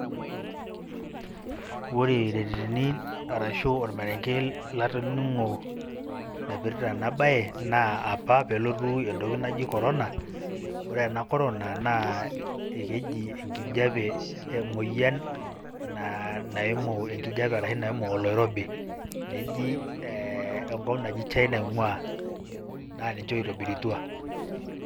Ore irereni arashu ormarenge latoning'o naipirta enabaye naa apa pee elotu entoki naji Corona naa ore ena Corona naa keji enkijiape emuoyian naimu enkijiape arashu naimu oloirobi neji ee enkop naji China ing'uaa naa ninche oitobirutua.